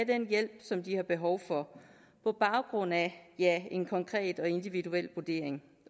den hjælp som de har behov for på baggrund af af en konkret og individuel vurdering